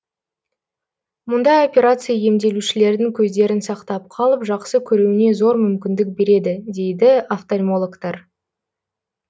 мұндай операция емделушілердің көздерін сақтап қалып жақсы көруіне зор мүмкіндік береді дейді офтальмологтар